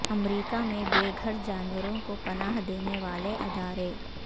امریکہ میں بے گھر جانوروں کو پناہ دینے والے ادارے